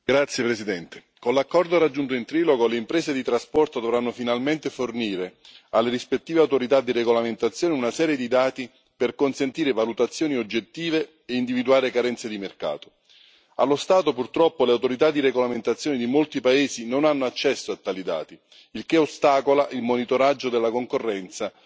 Signor Presidente, onorevoli colleghi, con l'accordo raggiunto in trilogo, le imprese di trasporto dovranno finalmente fornire alle rispettive autorità di regolamentazione una serie di dati per consentire valutazioni oggettive e individuare carenze di mercato. Allo stato, purtroppo, le autorità di regolamentazione di molti paesi non hanno accesso a tali dati, il che ostacola il monitoraggio della concorrenza